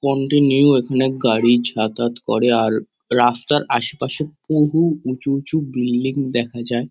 Continue এখানে গাড়ি যাতায়াত করে আর রাস্তার আশেপাশে বহু উঁচু উঁচু বিল্ডিং দেখা যায়।